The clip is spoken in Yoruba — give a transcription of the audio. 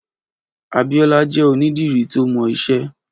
Abiola jè ònìdìrí tó mọ iṣẹ